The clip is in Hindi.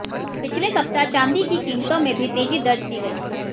पिछले सप्ताह चांदी की कीमतों में भी तेजी दर्ज की गई